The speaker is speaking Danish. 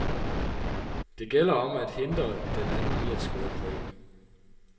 Det gælder om at hindre den anden i at score points.